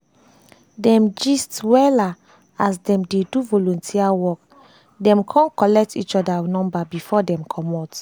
dem gist wella as dem dem dey do volunteer work dem kon collect each other number before dem comot